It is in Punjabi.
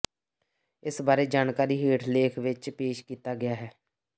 ਇਸ ਬਾਰੇ ਜਾਣਕਾਰੀ ਹੇਠ ਲੇਖ ਵਿਚ ਪੇਸ਼ ਕੀਤਾ ਗਿਆ ਹੈ